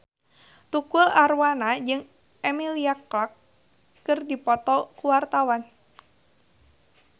Tukul Arwana jeung Emilia Clarke keur dipoto ku wartawan